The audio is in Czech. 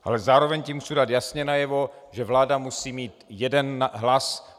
Ale zároveň tím chci dát jasně najevo, že vláda musí mít jeden hlas.